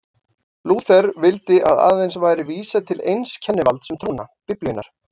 Lúther vildi að aðeins væri vísað til eins kennivalds um trúna, Biblíunnar.